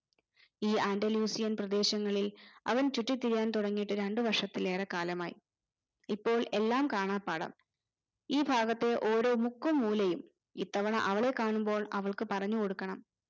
ഈ andalusian പ്രദേശങ്ങളിൽ അവൻ ചുറ്റിത്തിരിയാൻ തുടങ്ങിയിട്ട് രണ്ടു വർഷത്തിലേറെ കാലമായി ഇപ്പോൾ എല്ലാം കാണാപാഠം ഈ ഭാഗത്തെ ഓരോ മുക്കും മൂലയും ഇത്തവണ അവളെ കാണുമ്പോൾ അവൾക്ക് പറഞ്ഞു കൊടുക്കണം